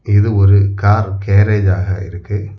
இது ஒரு car garage ஆக இருக்கு.